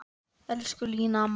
Elsku Lína amma.